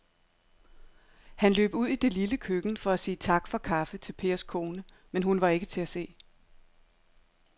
Han løb ud i det lille køkken for at sige tak for kaffe til Pers kone, men hun var ikke til at se.